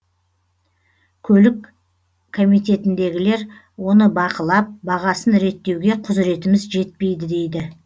көлік комитетіндегілер оны бақылап бағасын реттеуге құзыретіміз жетпейді дейді